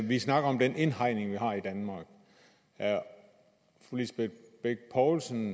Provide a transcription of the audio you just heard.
vi snakker om den indhegning vi har i danmark er fru lisbeth bech poulsen